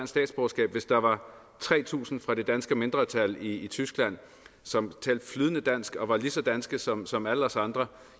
statsborgerskab hvis der var tre tusind fra det danske mindretal i tyskland som talte flydende dansk og var lige så danske som som alle os andre